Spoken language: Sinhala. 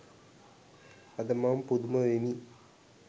අද මම පුදුම වෙමි